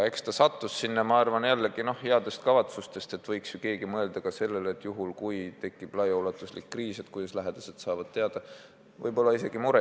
Eks see säte pandi eelnõusse heade kavatsustega, arvati, et keegi võiks mõelda ka sellele, et kui tekib ulatuslik kriis, kuidas siis lähedased saavad teada, kus haiglas inimene on.